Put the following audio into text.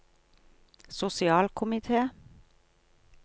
sosialkomite